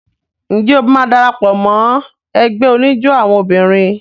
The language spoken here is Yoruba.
Ǹjẹ́ o máa dara pọ̀ mọ́ ẹgbẹ́ oníjó àwọn obìnrin?